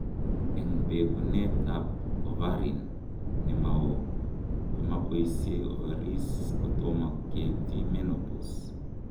Eng' bekunet ab ovarin nemaoo, komaboisie ovaries kotoma ketyi menopause